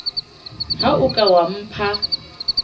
ha o ka wa mpha